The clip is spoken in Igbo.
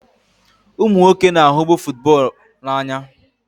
Ụmụ nwoke na-ahụbu football n'anya.